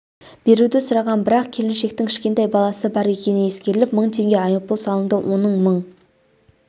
беруді сұраған бірақ келіншектің кішкентай баласы бар екені ескеріліп мың теңге айыппұл салынды оның мың